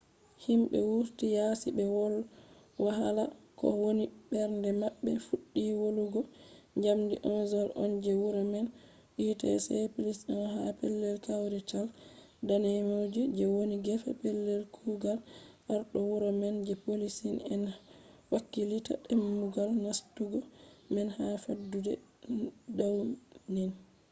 himɓe wurti yasi ɓe wolwa hala ko woni mbernde maɓɓe fuɗɗi wolugo njamdi 11:00nje wuro man utc +1 ha pellel kawrital danejum je woni gefe pellel kugal arɗo wuro man je poliici en hakkilitta dammugal nastugo man ha fattude dawnin